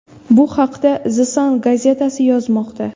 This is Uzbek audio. Bu haqda The Sun gazetasi yozmoqda .